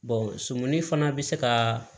surumuni fana bɛ se ka